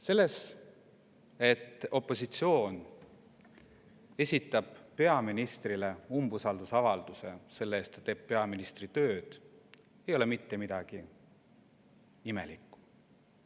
Selles, et opositsioon esitab peaministrile umbusaldusavalduse selle tõttu, et ta teeb peaministri tööd, ei ole mitte midagi imelikku.